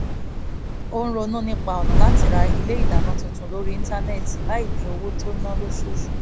ó ronú nípa ọ̀nà láti ra ilé ìdáná tuntun lórí íńtánẹ́ẹ̀tì láì dín owó tó ń ná lóṣooṣù kù